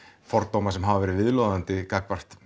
fordóma sem hafa verið viðloðandi gagnvart